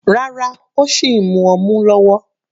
Rárá, ó sìn mu ọmu lọ́wọ́.